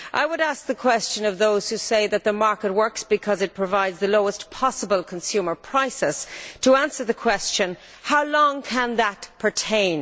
I would ask those who say that the market works because it provides the lowest possible consumer prices to answer the question how long can that pertain?